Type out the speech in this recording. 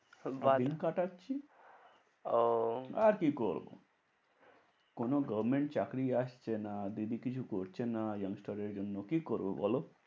বাদাম দিন কাটাচ্ছি ওহ আর কি করবো? কোনো government চাকরি আসছে না। দিদি কিছু করছে না young star দের জন্য, কি করবো বল?